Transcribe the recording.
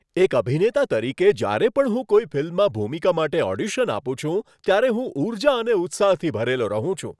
એક અભિનેતા તરીકે, જ્યારે પણ હું કોઈ ફિલ્મમાં ભૂમિકા માટે ઓડિશન આપું છું ત્યારે હું ઊર્જા અને ઉત્સાહથી ભરેલો રહું છું.